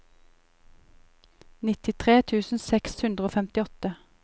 nittitre tusen seks hundre og femtiåtte